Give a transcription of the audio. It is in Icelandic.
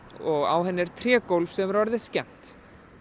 og á henni er trégólf sem nú er orðið skemmt